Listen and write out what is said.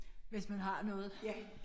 Hvis man har noget